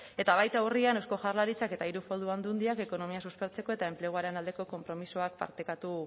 eta baita urrian eusko jaurlaritzak eta hiru foru aldundiak ekonomia suspertzeko eta enpleguaren aldeko konpromisoa partekatu